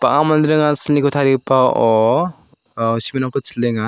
manderang ia silniko tarigipao simen rangko chilenga.